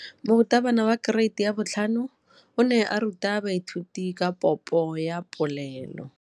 Moratabana wa kereiti ya 5 o ne a ruta baithuti ka popô ya polelô.